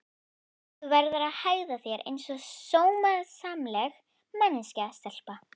Þú verður að hegða þér einsog sómasamleg manneskja stelpa.